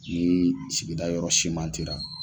sigida yɔrɔ simantera.